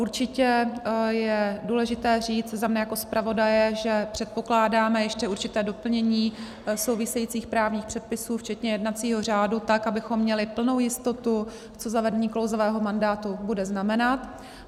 Určitě je důležité říct za mne jako zpravodaje, že předpokládáme ještě určité doplnění souvisejících právních předpisů včetně jednacího řádu tak, abychom měli plnou jistotu, co zavedení klouzavého mandátu bude znamenat.